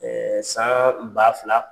san ba fila